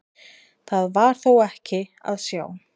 Það var þó ekki að sjá.